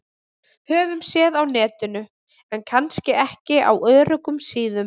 Höfum séð á Netinu- en kannski ekki á öruggum síðum.